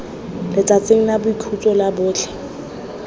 letsatsing la boikhutso la botlhe